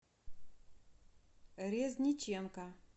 резниченко